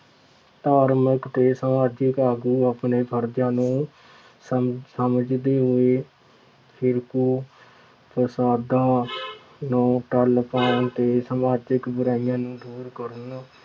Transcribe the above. ਧਾਰਮਿਕ ਅਤੇ ਸਮਾਜਿਕ ਆਗੂ ਆਪਣੇ ਫਰਜ਼ਾਂ ਨੂੰ ਸਮ ਸਮਝਦੇ ਹੋਏ ਫਿਰਕੂ ਫਸਾਦਾਂ ਨੂੰ ਠੱਲ ਪਾਉਣ ਤੇ ਸਮਾਜਿਕ ਬੁਰਾਈਆਂ ਨੂੰ ਦੂਰ ਕਰਨ